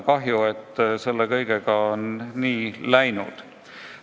Kahju, et selle kõigega on nii läinud.